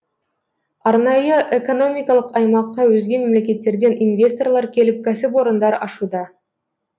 арнайы экономикалық аймаққа өзге мемлекеттерден инвесторлар келіп кәсіпорындар ашуда